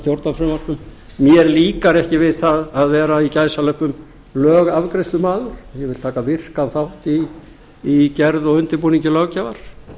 stjórnarfrumvörpum mér líkar ekki við það að vera í gæsalöppum lögafgreiðslumaður ég vil taka virkan þátt í gerð og undirbúningi löggjafar